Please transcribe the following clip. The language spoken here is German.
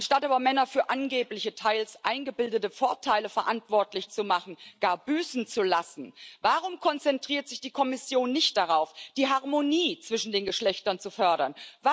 Anstatt aber Männer für angebliche, teils eingebildete Vorteile verantwortlich zu machen, gar büßen zu lassen, warum konzentriert sich die Kommission nicht darauf, die Harmonie zwischen den Geschlechtern zu fördern?